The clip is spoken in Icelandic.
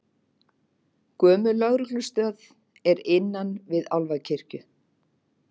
Gömul lögreglustöð er innan við Álfakirkju